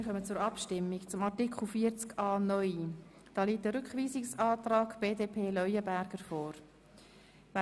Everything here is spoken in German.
Wir kommen zur Abstimmung über den Rückweisungsantrag BDP/Leuenberger zu Artikel 40a (neu).